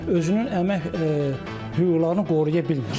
Özünün əmək hüquqlarını qoruya bilmir.